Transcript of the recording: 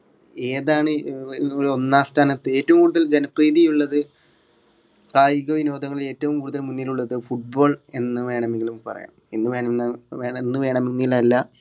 ഏതാണ് അഹ് ഒന്നാം സ്ഥാനത്ത് ഏറ്റവും കൂടുതൽ ജനപ്രീതിയുള്ളത് കായികവിനോദങ്ങളിൽ ഏറ്റവും കൂടുതൽ മുന്നിലുള്ളത് football എന്നു വേണമെങ്കിലും പറയാം എന്നുവേണം എന്നുവേണമെങ്കിലല്ലാ